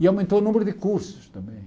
E aumentou o número de cursos também.